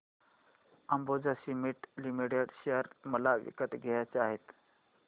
Ambuja cement limited share मला विकत घ्यायचे आहेत